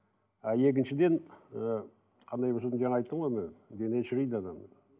а екіншіден і қандай болса да жаңа айттым ғой мен дене шірейді адамның